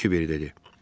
Qiver dedi.